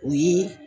O ye